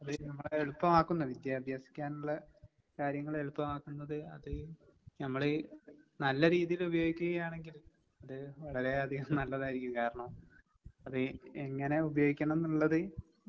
അത് നമ്മളെ എളുപ്പമാക്കുന്ന വിദ്യ അഭ്യസിക്കാനുള്ള കാര്യങ്ങള് എളുപ്പമാക്കുന്നത് അത് നമ്മള് നല്ല രീതിയില് ഉപയോഗിക്കുകയാണെങ്കിൽ അത് വളരെ അധികം നല്ലതായിരിക്കും. കാരണം അത് എങ്ങനെ ഉപയോഗിക്കണംന്നുള്ളത്